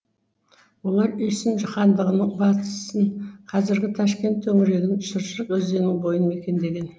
олар үйсін хандығының батысын қазіргі ташкент төңірегін шыршық өзеннің бойын мекендеген